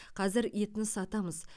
қазір етін сатамыз